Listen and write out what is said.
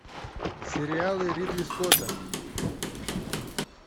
сериалы ридли скотта